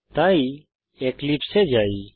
তাই এক্লিপসে এ যাই